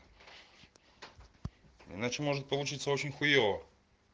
иначе может получиться очень хуева